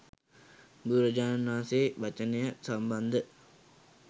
බුදුරජාණන් වහන්සේ වචනය සම්බන්ධ